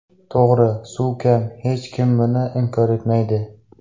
To‘g‘ri, suv kam, hech kim buni inkor etmaydi.